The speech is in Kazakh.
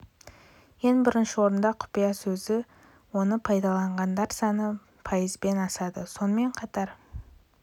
ең бірінші орында құпия сөзі оны пайдаланғандар саны пайыздан асады сонымен қатар алғашқы ондықта бірден тоғызға